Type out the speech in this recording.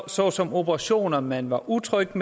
såsom operationer man var utrygge